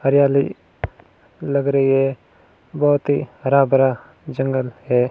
हरियाली लग रही है बहोत ही हरा भरा जंगल है।